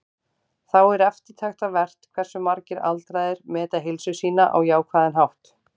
Þá er eftirtektarvert hversu margir aldraðir meta heilsu sína á jákvæðan hátt.